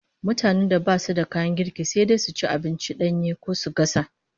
Mutanen da basu da kayan girki, sai dai su ci abinci danye ko su gasa